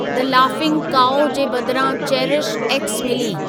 The laughing cow जे बदिरां चेरिशएक्स मिली।